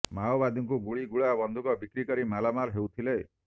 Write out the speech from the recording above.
ମାଓବାଦୀଙ୍କୁ ଗୋଳି ଗୁଳା ବନ୍ଧୁକ ବିକ୍ରି କରି ମାଲାମାଲ୍ ହେଉଥିଲେ